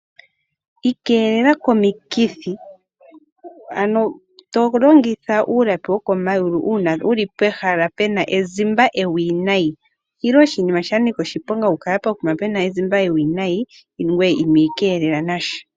Ikeelela komikithi ano to longitha uulapi wokomayulu uuna wuli pehala pena ezimba ewinayi. Oshi li oshinima sha nika oshiponga okukala pokuma pena ezimba ewinayi ngweye ino ikeelela nasha.